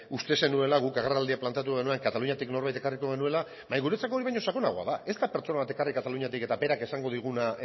uste zenuela guk agerraldia planteatu genuen kataluniatik norbait ekarriko genuela baina guretzako hori baino sakonagoa da ez da pertsona bat ekarrik kataluniatik eta berak esango diguna